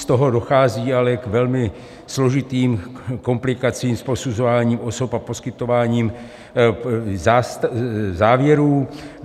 Z toho dochází ale k velmi složitým komplikací s posuzováním osob a poskytováním závěrů.